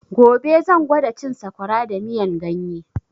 Gobe zan gwada cin sakwara da miyan ganye